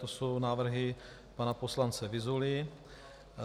To jsou návrhy pana poslance Vyzuly.